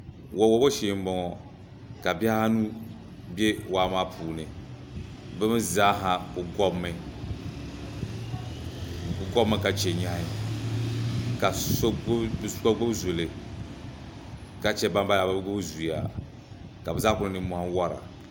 wa' wabo shee m-bɔŋɔ ka bihi anu be waa maa puuni bɛ m-i zaa ha ku ɡɔbimi ka che nyɛhi ka bɛ so ɡbubi zuli ka che bambala maa bɛ bi ɡbubi zuya ka bɛ zaa ku-- niŋ nimmɔhi war